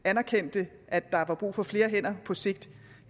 anerkendte at der var brug for flere hænder på sigt